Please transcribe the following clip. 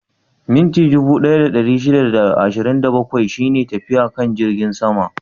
Minti dubu ɗaya da ɗari shida da ashirin da bakwai ne tafiyar kan jirgin sama?